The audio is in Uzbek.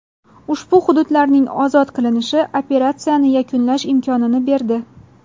Ushbu hududlarning ozod qilinishi operatsiyani yakunlash imkonini berdi.